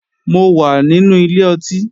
Mo wà nínú ilé ọtí